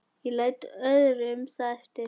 Ég læt öðrum það eftir.